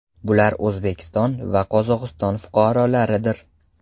Bular O‘zbekiston va Qozog‘iston fuqarolaridir.